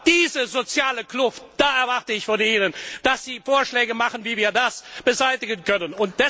Diese soziale Kluft da erwarte ich von Ihnen, dass Sie Vorschläge machen, wie wir diese Kluft beseitigen können.